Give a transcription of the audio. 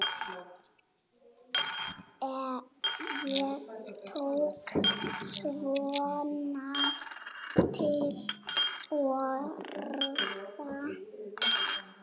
Ég tók svona til orða.